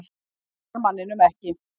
Hún svarar manninum ekki.